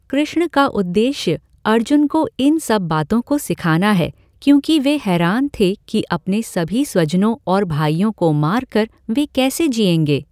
कृष्ण का उद्देश्य अर्जुन को इन सब बातों को सिखाना है, क्योंकि वे हैरान थे कि अपने सभी स्वजनों और भाइयों को मार कर वे कैसे जिएंगे।